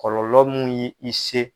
Kɔlɔlɔ mun ye i se